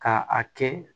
Ka a kɛ